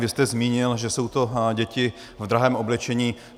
Vy jste zmínil, že jsou to děti v drahém oblečení.